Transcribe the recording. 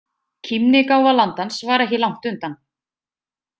Kímnigáfa landans var ekki langt undan.